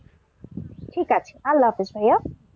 ঠিক আছে, আল্লাহ হাফিস ভাইয়া।